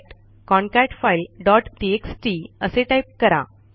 cat concat file dot TXT असे type करा